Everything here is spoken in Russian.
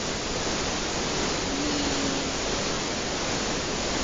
минск